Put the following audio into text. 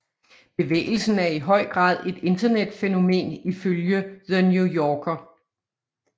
Bevægelsen er i høj grad et internetfænomen ifølge The New Yorker